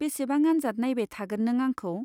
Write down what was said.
बेसेबां आन्जाद नाइबाय थागोन नों आंखौ ?